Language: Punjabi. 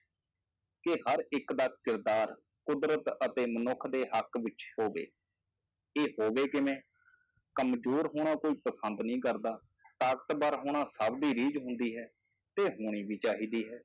ਕਿ ਹਰ ਇੱਕ ਦਾ ਕਿਰਦਾਰ ਕੁਦਰਤ ਅਤੇ ਮਨੁੱਖ ਦੇ ਹੱਕ ਵਿੱਚ ਹੋਵੇ, ਇਹ ਹੋਵੇ ਕਿਵੇਂ ਕੰਮਜ਼ੋਰ ਹੋਣਾ ਕੋਈ ਪਸੰਦ ਨਹੀਂ ਕਰਦਾ, ਤਾਕਤਵਰ ਹੋਣਾ ਸਭ ਦੀ ਰੀਝ ਹੁੰਦੀ ਹੈ, ਤੇ ਹੋਣੀ ਵੀ ਚਾਹੀਦੀ ਹੈ।